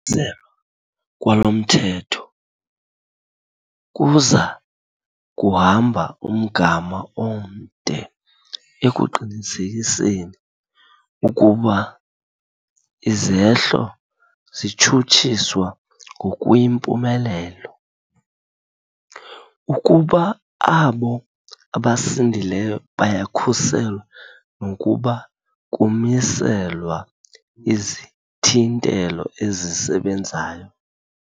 "selwa kwalo mthetho kuza kuhamba umgama omde ekuqinisekiseni ukuba izehlo zitshutshiswa ngokuyimpumelelo, ukuba abo abasindileyo bayakhuselwa nokuba kumiselwa izithintelo ezisebenzayo."